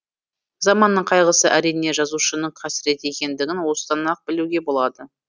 заманның қайғысы әрине жазушының қасіреті екендігін осыдан ақ білуге болады